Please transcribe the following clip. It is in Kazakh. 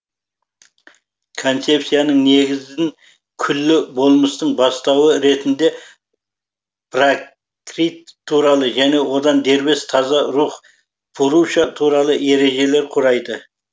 концепцияның негізін күллі болмыстың бастауы ретінде пракрит туралы және одан дербес таза рух пуруша туралы ережелер құрайды